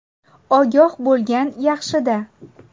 Ogoh bo‘lgan yaxshida!